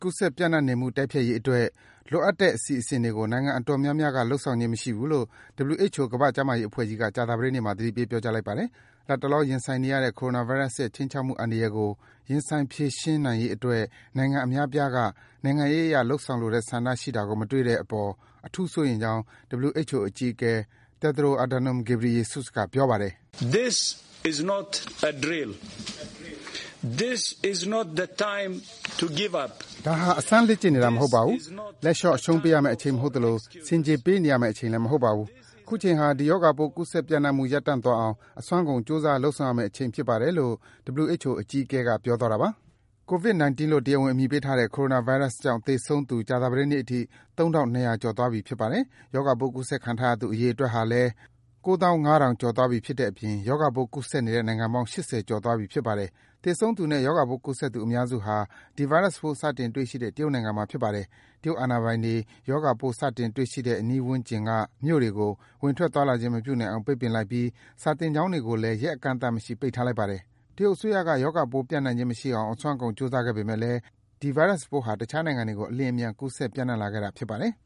ကူးစက် ပြန့်နှံ့နေမှု တိုက်ဖျက်ရေးအတွက် လိုအပ်တဲ့အစီအစဉ်တွေကို နိုင်ငံအတော်များများက လုပ်ဆောင်ခြင်းမရှိဘူးလို့ WHO ကမ္ဘာ့ကျန်းမာရေးအဖွဲ့ကြီးက ကြာသပတေးနေ့မှာ သတိပေး ပြောကြားလိုက်ပါတယ်။ လတ်တလော ရင်ဆိုင်နေရတဲ့ Coronavirus ရဲ့ ခြိမ်းခြောက်မှုအန္တရာယ်ကို ရင်ဆိုင်ဖြေရှင်းရေး အတွက် နိုင်ငံအများအပြားက နိုင်ငံရေးအရ လုပ်ဆောင်လိုတဲ့ ဆန္ဒရှိတာကို မတွေ့ရတဲ့အပေါ် အထူးစိုးရိမ်ကြောင်း WHO အကြီးအကဲ Tedros Adhanom Ghebreyesus က ပြောပါတယ်။ “ဒါဟာ အစမ်းလေ့ကျင့်နေတာမဟုတ်ပါဘူး။ လက်လျော့အရှုံးပေးရမယ့်အချိန် မဟုတ်သလို ဆင်ခြေ ပေးနေရမယ့်အချိန်လည်း မဟုတ်ပါဘူး။ အခုချိန်ဟာ ဒီရောပိုး ကူးစက်ပြန့်နှံ့မှု ရပ်တန့်သွားအောင် အစွမ်းကုန် ကြိုးစားလုပ်ဆောင်ရမယ့် အချိန်ဖြစ်ပါတယ်။” Covid-19 လို့ တရားဝင်အမည်ပေးထားတဲ့ ဒီ ကိုရိုနာဗိုင်းရပ်စ်ကြောင့် သေဆုံးသူ ကြာသပတေးနေ့အထိ ၃,၂၀၀ ကျော်သွားပြီဖြစ်ပါတယ်။ ရောဂါပိုး ကူးစက်ခံထားရသူ အရေအတွက်ဟာလည်း ၉၅,၀၀၀ ကျော်သွားပြီ ဖြစ်တဲ့အပြင် ရောဂါပိုး ကူးစက်နေတဲ့ နိုင်ငံပေါင်း ၈၀ ကျော်သွားပြီ ဖြစ်ပါတယ်။ သေဆုံးသူနဲ့ ရောဂါပိုးကူးစက်သူ အများစုဟာ ဒီ ဗိုင်းရပ်စ်ပိုး စတင်တွေ့ရှိတဲ့ တရုတ်နိုင်ငံမှာဖြစ်ပါတယ်။ တရုတ်အာဏာပိုင်တွေက ရောဂါပိုး စတင်တွေ့ရှိတဲ့ အနီးဝန်းကျင်က မြို့တွေကို ဝင်ထွက် သွားလာခြင်းမပြုနိုင်အောင် ပိတ်ပင်ထားလိုက်ပြီး စာသင်ကျောင်းတွေကိုလည်း ရက်အကန့်အသတ်မရှိ ပိတ်ထားလိုက်ပါတယ်။ တရုတ်အစိုးရက ရောဂါပိုးပြန့်နှံ့ခြင်းမရှိအောင် အစွမ်းကုန် ကြိုးစားခဲ့ပေမယ့်လည်း ဒီဗိုင်းရပ်စ်ပိုးဟာ တခြားနိုင်ငံတွေကို အလျင်အမြန် ကူးစက် ပြန့့်နှံ့လာခဲ့တာ ဖြစ်ပါတယ်။